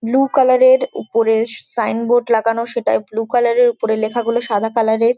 Blue colour এর উপরে signboard লাগানো সেটাই ব্লু কালার -এর উপরে লেখাগুলো সাদা কালার এর।